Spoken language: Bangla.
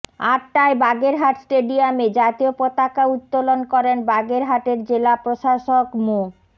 আটটায় বাগেরহাট স্টেডিয়ামে জাতীয় পতাকা উত্তোলন করেন বাগেরহাটের জেলা প্রশাসক মো